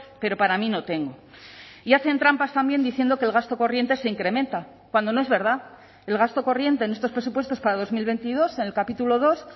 pero para mí no tengo y hacen trampas también diciendo que el gasto corriente se incrementa cuando no es verdad el gasto corriente en estos presupuestos para dos mil veintidós en el capítulo dos